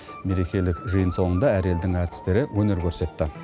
мерекелік жиын соңында әр елдің әртістері өнер көрсетті